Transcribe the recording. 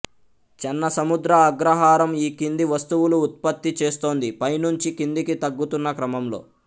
చెన్నసముద్ర అగ్రహారం ఈ కింది వస్తువులు ఉత్పత్తి చేస్తోంది పై నుంచి కిందికి తగ్గుతున్న క్రమంలో